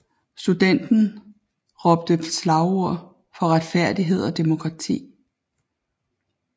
Studenterne råbte slagord for retfærdighed og demokrati